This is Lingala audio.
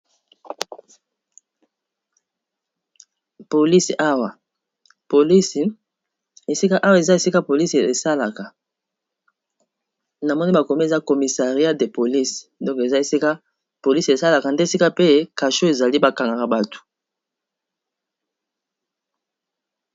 polisi awa, polisi esika awa eza esika polisi esalaka na moni bakomi eza comissariat de polisi donko eza esika polisi esalaka nde esika pe kasho ezali ba kangaka bato.